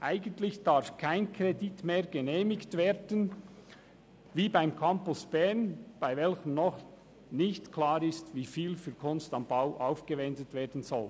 Eigentlich darf kein Kredit wie beim Campus Bern genehmigt werden, solange noch nicht klar ist, wie viel für «Kunst am Bau» aufgewendet werden soll.